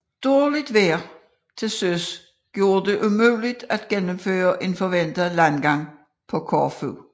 Dårligt vejr til søs gjorde det umuligt at gennemføre en forventet landgang på Korfu